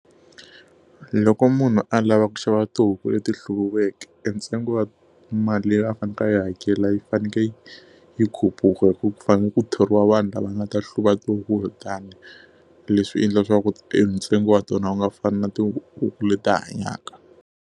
Loko munhu a lava ku xava tihuku leti hluviweke, e ntsengo wa mali leyi a faneleke a yi hakela yi fanekele yi khupuka hikuva ku fanele ku thoriwa vanhu lava nga ta hluva tihuku letiyani. Leswi endla leswaku e ntsengo wa tona u nga fani na tihuku leti hanyaka.